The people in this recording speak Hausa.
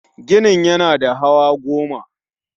Ginin yana da hawa goma